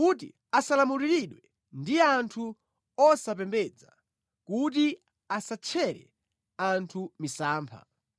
kuti asalamuliridwe ndi anthu osapembedza, kuti asatchere anthu misampha.